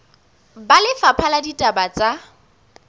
ba lefapha la ditaba tsa